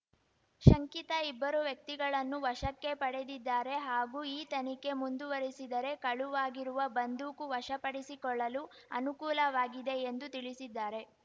ಶಂಕಿತ ಇಬ್ಬರು ವ್ಯಕ್ತಿಗಳನ್ನು ವಶಕ್ಕೆ ಪಡೆದಿದ್ದಾರೆ ಹಾಗೂ ಈ ತನಿಖೆ ಮುಂದುವರೆಸಿದರೆ ಕಳುವಾಗಿರುವ ಬಂದೂಕು ವಶಪಡಿಸಿಕೊಳ್ಳಲು ಅನುಕೂಲವಾಗಿದೆ ಎಂದು ತಿಳಿಸಿದ್ದಾರೆ